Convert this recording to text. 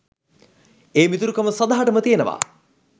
ඒ මිතුරු කම සදහටම තියෙනවා.